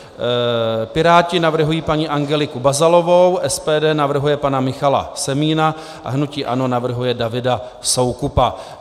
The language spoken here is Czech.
Piráti navrhují paní Angeliku Bazalovou, SPD navrhuje pana Michala Semína a hnutí ANO navrhuje Davida Soukupa.